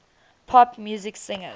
pop music singers